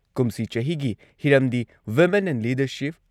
ꯀꯨꯝꯁꯤ ꯆꯍꯤꯒꯤ ꯍꯤꯔꯝꯗꯤ ꯋꯤꯃꯦꯟ ꯑꯦꯟ ꯂꯤꯗꯔꯁꯤꯞ